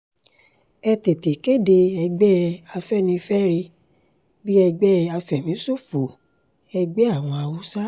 ẹ tètè kéde ẹgbẹ́ afẹ́nifẹ́re bíi ẹgbẹ́ àfẹ̀míṣòfò-ẹgbẹ́ àwọn haúsá